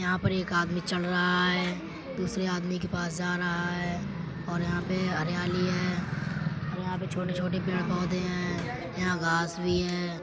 यहां पर एक आदमी चढ़ रहा है। दूसरे आदमी के पास जा रहा है और यहां पे हरियाली है और यहां पे छोटे-छोटे पेड़ पौधे हैं। यहां घास भी है।